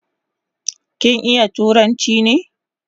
Kin iya turanchi ne?